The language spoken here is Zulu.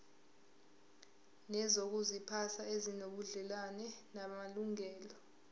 nezokuziphatha ezinobudlelwano namalungelo